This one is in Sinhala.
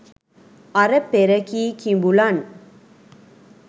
අර පෙර කී කිඹුලන්